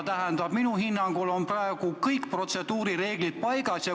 Seega, minu hinnangul on praegu kõik protseduurireeglid paigas.